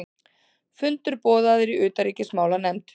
Fundur boðaður í utanríkismálanefnd